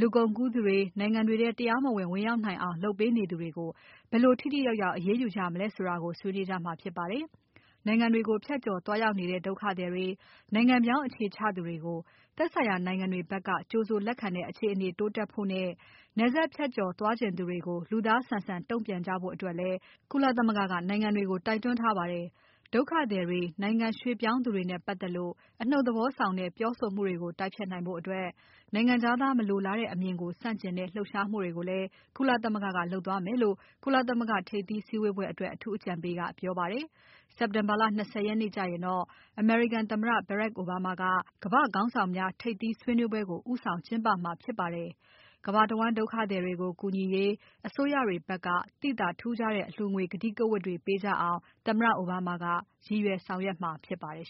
လူကုန်ကူးသူတွေ နိုင်ငံတွေထဲ တရားမဝင် ဝင်ရောက်နိုင်အောင် လုပ်ပေးသူတွေကို ဘယ်လို ထိထိရောက်ရောက် အရေးယူ ကြမလဲဆိုတာကို ဆွေးနွေးကြမှာဖြစ်ပါတယ်။ နိုင်ငံတွေကို ဖြတ်ကျော် သွားရောက်နေတဲ့ ဒုက္ခသည်တွေ နိုင်ငံပြောင်း အခြေချသူတွေကို သက်ဆိုင်ရာ နိုင်ငံတွေဖက်က ကြိုဆိုလက်ခံတဲ့ အခြေအနေ တိုးတက်ဖို့နဲ နယ်စပ်ဖြတ်ကျော် သွားချင်သူတွေကို လူသားဆန်ဆန် တုံ့ပြန်ကြဖို့ အတွက် ကုလသမဂ္ဂက နိုင်ငံတွေကို တိုက်တွန်းထားပါတယ်။ ဒုက္ခသည်တွေ နိုင်ငံရွှေ့ပြောင်း သူတွေနဲ့ ပါတ်သက်လို့ အနှုတ် သဘော ဆောင်တဲ ပြောဆိုမှုတွေကို တိုက်ဖျက်နိုင်ဖို့ နိုင်ငံခြားသား မလိုလားတဲ့ အမြင်ကို ဆန့်ကျင်တဲ့ လှုပ်ရှားမှုတွေကိုလဲ ကုလသမဂ္ဂက လုပ်သွားမယ်လို့ ကုလသမဂ္ဂ ထိပ်သီး စည်းဝေးပွဲအတွက် အထူးအကြံပေးက ပြောပါတယ်။ စက်တင်ဘာလ ၂၀ ရက်နေ့ ကျရင်တော့ အမေရိကန်သမ္မတ Barack Obama က ကမ္ဘာ့ ခေါင်းဆောင်များ ထိပ်သီးဆွေးနွေးပွဲကို ဦးဆောင်ကျင်းပမှာဖြစ်ပါတယ်။ ကမ္ဘာတဝန်း ဒုက္ခသည်တွေကို ကူညီရေး အစိုးရတွေ ဖက်က သိသာထူးခြားတဲ့ အလှူငွေ ကတိကဝတ်တွေ ပေးကြရအောင် သမ္မတအိုဘားမားက ရည်ရွယ် ဆောင်ရွက်မှာ ဖြစ်ပါတယ်